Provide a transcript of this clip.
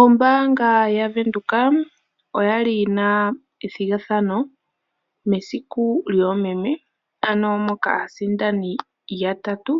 Ombaanga ya Windhoek oya li yi na ethigathano mesiku lyoomeme, ano moka aasindani yatatu